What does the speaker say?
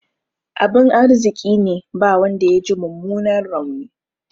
Abin arziƙine ba wanda yaji mummunan rauni.